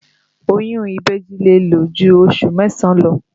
Oyún ìbejì lè lò ju oṣù mẹ́sàn-án lọ